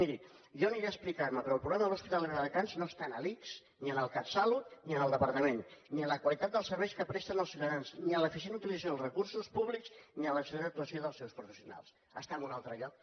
miri jo hi aniré a explicar me però el problema de l’hospital de viladecans no està en l’ics ni en el catsalut ni en el departament ni en la qualitat dels serveis que presta als ciutadans ni en l’eficient utilització dels recursos públics ni en l’excel·lent actuació dels seus professionals està en un altre lloc